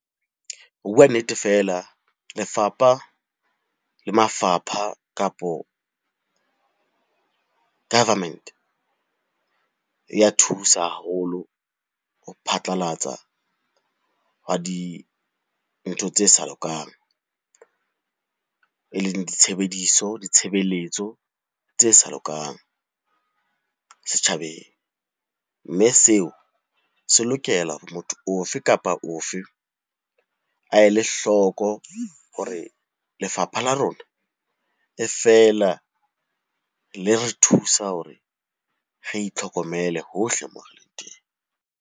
Ho bua nnete feela, lefapha le mafapha kapo government e ya thusa haholo ho phatlalatsa hwa dintho tse sa lokang. E leng ditshebediso, ditshebeletso tse sa lokang setjhabeng. Mme seo se lokela hore motho o fe kapa o fe a ele hloko hore lefapha la rona e feela le re thusa hore re itlhokomele hohle moo re leng teng.